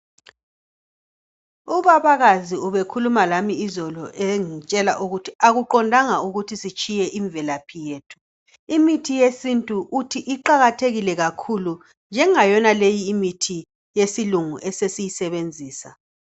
Ubabakazi ubekhuluma lami izolo engitshela ukuthi akuqondanga ukuthi sitshiye imvelaphi yethu. Imithi yesintu uthi iqakathekile kakhulu njengayonaleyi imithi yesilungu esesiyisebenzisa.